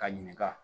Ka ɲininka